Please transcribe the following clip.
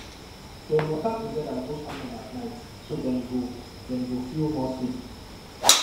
dem waka together go station at night so dem go dem go feel more safe